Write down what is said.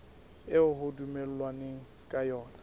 eo ho dumellanweng ka yona